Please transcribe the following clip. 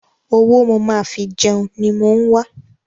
Owó mo máa fi jẹun ni mò ń wa.